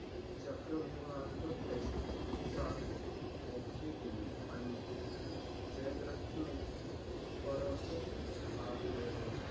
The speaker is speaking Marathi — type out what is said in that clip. चक्रव्युहात त्याची चाल ओखली गेली. आणि जयद्रत ने परत हाकलेले